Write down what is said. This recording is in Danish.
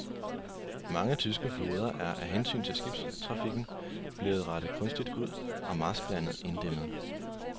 Mange tyske floder er af hensyn til skibstrafikken blevet rettet kunstigt ud og marsklandet inddæmmet.